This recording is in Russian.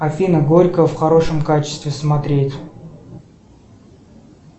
афина горько в хорошем качестве смотреть